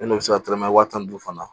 Ne n'o bɛ se ka tɛrɛmɛ tan ni duuru fana